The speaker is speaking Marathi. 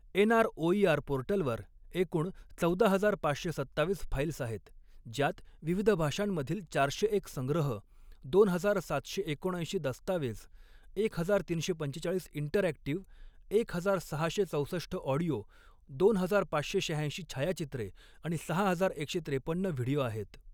एनआरओइआर पोर्टलवर एकूण चौदा हजार पाचशे सत्तावीस फाईल्स आहेत, ज्यात विविध भाषांमधील चारशे एक संग्रह, दोन हजार सातशे एकोणऐंशी दस्तावेज, एक हजार तीनशे पंचेचाळीस इंटरॲक्टिव, एक हजार सहाशे चौसष्ठ ऑडिओ, दोन हजार पाचशे शहाऐंशी छायाचित्रे आणि सहा हजार एकशे त्रेपन्न व्हिडिओ आहेत.